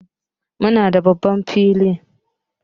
Muna da babban falo.